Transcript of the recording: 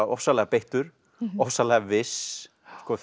ofsalega beittur ofsalega viss